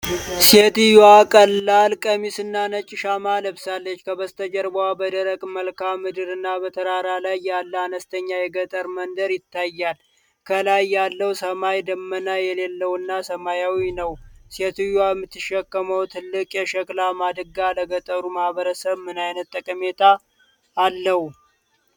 ሴትየዋ ቀላል ቀሚስና ነጭ ሻማ ለብሳለች፤ ከበስተጀርባው በደረቅ መልክዓ ምድርና በተራራ ላይ ያለ አነስተኛ የገጠር መንደር ይታያል። ከላይ ያለው ሰማይ ደመና የሌለውና ሰማያዊ ነው። ሴትየዋ የምትሸከመው ትልቅ የሸክላ ማድጋ ለገጠሩ ማኅበረሰብ ምን ዓይነት ጠቀሜታ አለው?